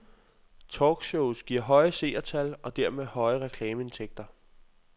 Talkshows giver høje seertal og dermed høje reklameindtægter.